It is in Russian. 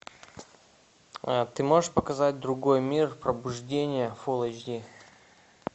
ты можешь показать другой мир пробуждение фулл эйч ди